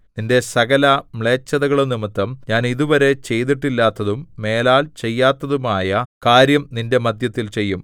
നിന്റെ സകല മ്ളേച്ഛതകളും നിമിത്തം ഞാൻ ഇതുവരെ ചെയ്തിട്ടില്ലാത്തതും മേലാൽ ചെയ്യാത്തതുമായ കാര്യം നിന്റെ മദ്ധ്യത്തിൽ ചെയ്യും